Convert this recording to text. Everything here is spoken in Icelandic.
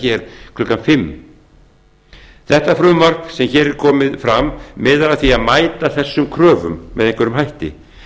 hér klukkan fimmta það frumvarp sem hér er komið fram miðar að því að mæta þessum kröfum með einhverjum hætti